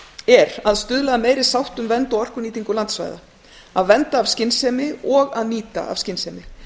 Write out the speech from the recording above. er að stuðla að meiri sátt um vernd og orkunýtingu landsvæða að vernda af skynsemi og að nýta af skynsemi